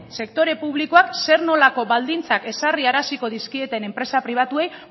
sektore publikoak zer nolako baldintzak ezarraraziko dizkieten enpresa pribatuei